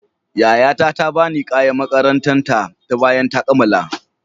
Yayata ta ba ni kayan makarantar ta bayan ta kammala.